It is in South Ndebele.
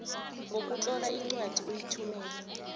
ngokutlola incwadi uyithumele